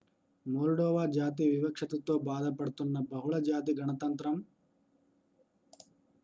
Moldova జాతి వివక్షతతో బాధపడుతున్న బహుళ జాతి గణతంత్రం